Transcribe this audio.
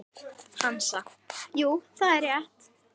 Hansa: Jú, það er rétt.